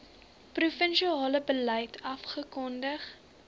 provinsiale beleid afgekondig